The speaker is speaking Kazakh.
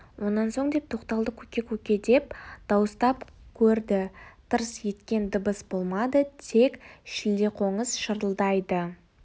онан соң деп тоқталды көке көке деп дауыстап көрді тырс еткен дыбыс болмады тек шілдеқоңыз шырылдайды